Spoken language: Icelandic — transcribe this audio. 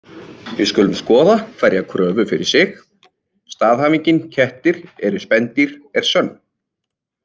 Við skulum skoða hverja kröfu fyrir sig: Staðhæfingin kettir eru spendýr er sönn.